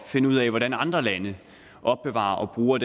finde ud af hvordan andre lande opbevarer og bruger